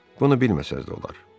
Bunu bilməsəniz də olar.